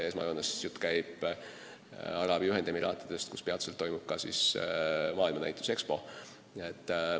Esmajoones käib jutt Araabia Ühendemiraatidest, kus peatselt toimub ka maailmanäitus Expo.